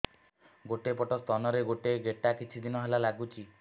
ଗୋଟେ ପଟ ସ୍ତନ ରେ ଗୋଟେ ଗେଟା କିଛି ଦିନ ହେଲା ଲାଗୁଛି